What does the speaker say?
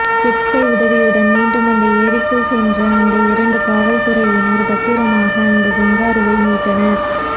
jet ski உதவியுடன் மீண்டும் அந்த ஏரிக்குள் சென்ற அந்த இரண்டு காவல்துறையினர் பத்திரமாக அந்த கங்காருவை மீட்டனர்